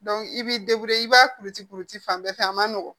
i b'i i b'a kucukuti fan bɛɛ fɛ a man nɔgɔ